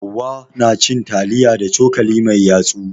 Hauwa na cin taliya da cokali mai yatsu.